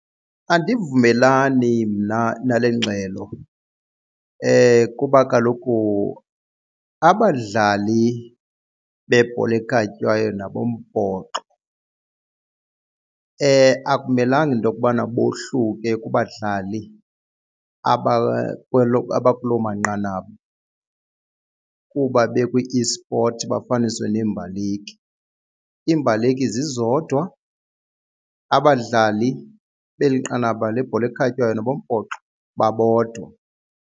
Andivumelani mna nale ngxelo kuba kaloku abadlali bebhola ekhatywayo nabombhoxo akumelanga into okubana bohluke kubadlali abakwelo abakuloo manqanaba kuba bekwi-esport bafaniswa neembaleki. Iimbaleki zizodwa, abadlali beli nqanaba lebhola ekhatywayo nabombhoxo babodwa.